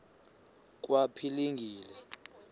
kwaphilingile